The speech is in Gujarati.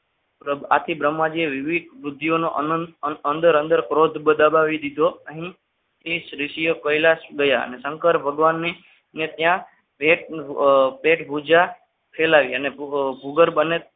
આખી બ્રહ્માજી વિવિધ બુદ્ધિનો અનંત અંદર ક્રોધ દબાવી દીધો અહીં પ્રિન્સ ઋષિએ કૈલાશ દયા અને શંકર ભગવાનની ત્યાં ભેટ પૂજા ફેલાવી અને ભૂગર બને